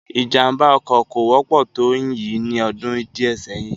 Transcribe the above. Ìjàm̀bá ọkọ̀ kò wọ́pọ̀ tó yìí ní ọdún díè sẹ́yìn